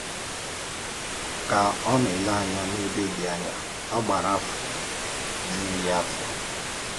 Ka ọ nà-èlè ànyà n’ẹ̀bè dị ànyà ọ gàrà, áfọ̀ jùrù ya áfọ̀.